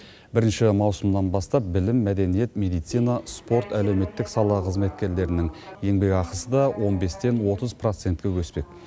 бірінші маусымнан бастап білім мәдениет медицина спорт әлеуметтік сала қызметкерлерінің еңбекақысы да он бестен отыз процентке өспек